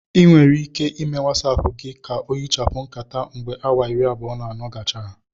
Ị nwere ike ịme Watsapu gị ka ohichapụ nkata mgbe awa iri abụọ na anọ gachara